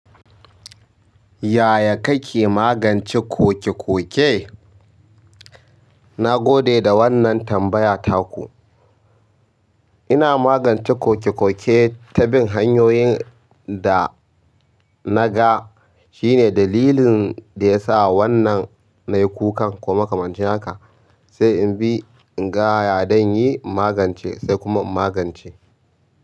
Yaya kake magance koke-koke? Na gode da wannan tambaya ta ku. Ina magance kokekoke ta bin hanyoyin da naga shine dalilin da yasa wannan nayi kukan ko makamancin haka, sai in bi, in ga ya zan yi in magance sai kuma in magance.